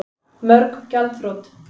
Mörg gjaldþrot